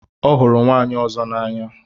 Ọ hụrụ nwaanyị ọzọ n'anya.